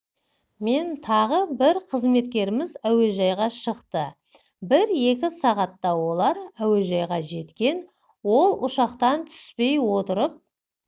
мен тағы бір қызметкеріміз әуежайға шықты бір-екі сағатта олар әуежайға жеткен ол ұшақтан түспей отырып